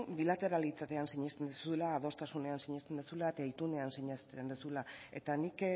bilateralitatean sinesten duzula adostasunean sinesten duzula eta itunean sinesten duzula eta nik